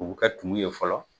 U bɛ kɛ tumu ye fɔlɔ